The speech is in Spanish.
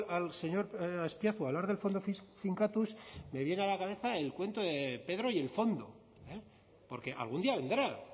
al señor azpiazu hablar del fondo finkatuz me viene a la cabeza el cuento de pedro y el fondo porque algún día vendrá